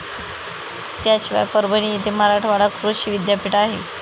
त्याशिवाय परभणी येथे मराठवाडा कृषी विद्यापीठ आहे.